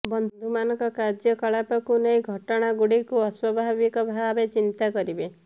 ବନ୍ଧୁମାନଙ୍କ କାର୍ଯ୍ୟ କଳାପକୁ ନେଇ ଘଟଣାଗୁଡ଼ିକୁ ଅସ୍ୱାଭାବିକ ଭାବେ ଚିନ୍ତା କରିବେ